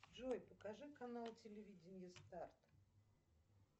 джой покажи канал телевидение старт